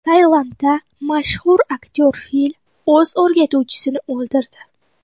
Tailandda mashhur aktyor fil o‘z o‘rgatuvchisini o‘ldirdi.